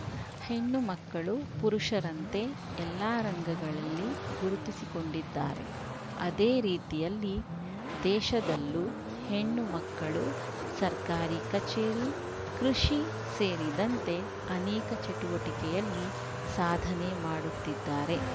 ಹೆಣ್ಣು ಮಕ್ಕಳು ಪುರುಷರಂತೆ ಎಲ್ಲ ರಂಗಗಳಲ್ಲಿ ಗುರುತಿಸಿಕೊಂಡಿದ್ದಾರೆ ಅದೇ ರೀತಿಯಲ್ಲಿ ದೇಶದಲ್ಲೂ ಹೆಣ್ಣು ಮಕ್ಕಳು ಸರ್ಕಾರಿ ಕಚೇರಿ ಕೃಷಿ ಸೇರಿದಂತೆ ಅನೇಕ ಚಟುವಟಿಕೆಯಲ್ಲಿ ಸಾಧನೆ ಮಾಡುತ್ತಿದ್ದಾರೆ